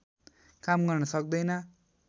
काम गर्न सक्दैन